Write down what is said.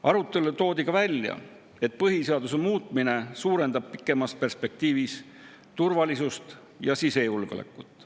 Arutelul toodi ka välja, et põhiseaduse muutmine suurendab pikemas perspektiivis turvalisust ja sisejulgeolekut.